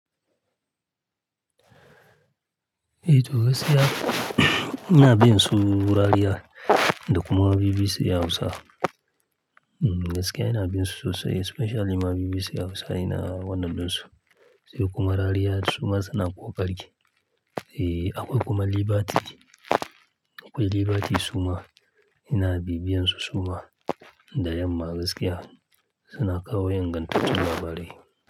Eh to gaskiya ina bin su, rariya da kuma BBC ya Hausa. Hm, gaskiya ina bin su sosai, especially ma BBC ya Hausa ina wannan bin su. Sai kuma rariya suma suna ƙoƙari. E, akwai kuma liberty, akwai liberty suma ina bibiyan su suma. Da yamma gaskiya suna kawo ingantattun labarai.